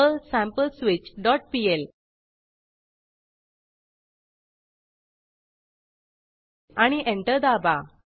Perl sampleswitchपीएल आणि enter दाबा